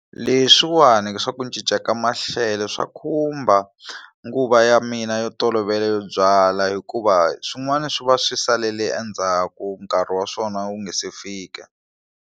Leswiwani swa ku cinca ka maxelo swa khumba nguva ya mina yo tolovela yo byala hikuva swin'wana swi va swi salele endzhaku nkarhi wa swona wu nga se fika.